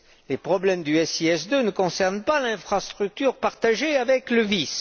Les problèmes du SIS II ne concernent pas l'infrastructure partagée avec le VIS.